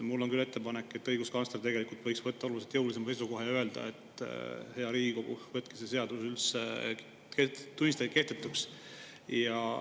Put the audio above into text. Mul on küll ettepanek, et õiguskantsler võiks võtta oluliselt jõulisema seisukoha ja öelda, et, hea Riigikogu, võtke ja tunnistage see seadus üldse kehtetuks.